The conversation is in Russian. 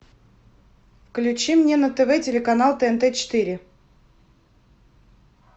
включи мне на тв телеканал тнт четыре